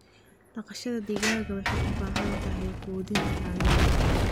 Dhaqashada digaaga waxay u baahan tahay quudin tayo leh.